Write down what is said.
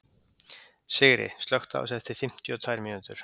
Sigri, slökktu á þessu eftir fimmtíu og tvær mínútur.